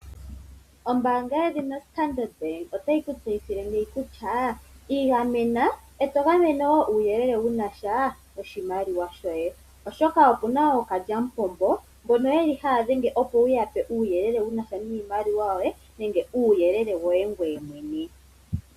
Ombaanga yedhina Standard bank otayi ku tseyithile kutya igamena e to gamene wo uuyelele wuna sha noshimaliwa shoye, oshoka okuna ookalyamupombo mbono yeli haya dhenge opo wuya pe uuyelele wuna sha niimaliwa yoye, nenge uuyelele woye ngoye mwene.